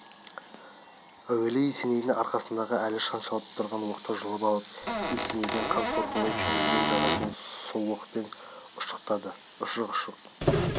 әуелі есенейдің арқасында әлі шаншылып тұрған оқты жұлып алып есенейдің қан сорғалай жөнелген жарасын сол оқпен ұшықтады ұшық ұшық